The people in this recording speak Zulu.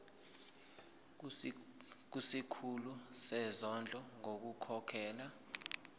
kusikhulu sezondlo ngokukhokhela